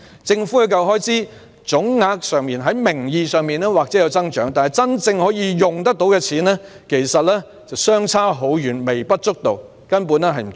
政府的教育開支總額在名義上或有所增長，但真正可用的錢其實微不足道，根本不足夠。